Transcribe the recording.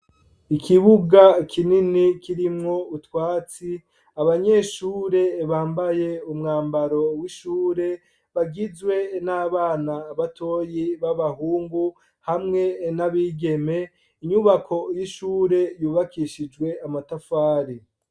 Ikibuga kinini kirimwo utwatsi abanyeshuri bambaye umwambaro w'ishure bagizwe n'abana batoyi baba hungu hamwe n'abigeme inyubako y'ishuri yubakishijwe amatafari.